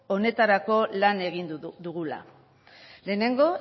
honetarako lan egin dugula lehenengo